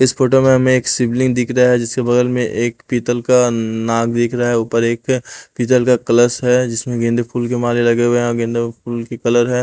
इस फोटो में हमें एक शिवलिंग दिख रहा है जिसके बगल में एक पीतल का नाग दिख रहा है ऊपर एक पीतल का कलस है जिसमें गेंदे फूल के माले लगे हुए हैं और गेंदे फूल के कलर है।